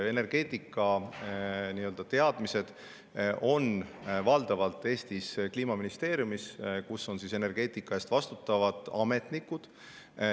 Energeetikateadmised on Eestis valdavalt Kliimaministeeriumis, kus on energeetika eest vastutavad ametnikud.